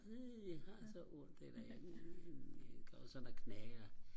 uh jeg har så ondt eller uh iggås og der knager